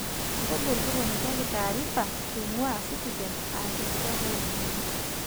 google toponikiaki taarifa eing'ua citizen aa enkijape olaing'ang'e